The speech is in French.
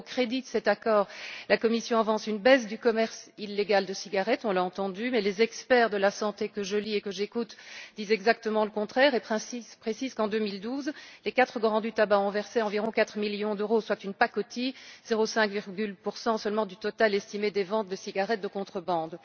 Alors, au crédit de cet accord, la Commission avance une baisse du commerce illégal de cigarettes on l'a entendu mais les experts de la santé, que je lis et que j'écoute, disent exactement le contraire et précisent qu'en 2012, les quatre grands du tabac ont versé environ 4 millions d'euros, soit une pacotille, 0,5 seulement du total estimé des ventes de cigarettes de contrebande.